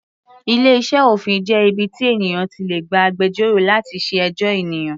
Ilé iṣẹ́ òfin jẹ́ ibi tí ènìyàn ti lè gba agbẹjọ́rò láti ṣe ẹjọ́ ènìyàn.